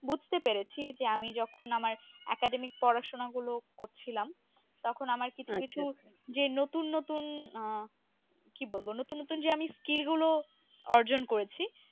বুঝতে পেরেছি যে আমি যখন আমার academy পড়াশুনা গুলো করছিলাম তখন আমার কিছু কিছু যে নতুন নতুন আহ কি বলব নতুন নতুন যে আমি skil গুলো অর্জন করেছি।